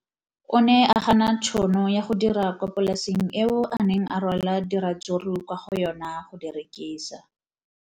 O ne a gana tšhono ya go dira kwa polaseng eo a neng a rwala diratsuru kwa go yona go di rekisa.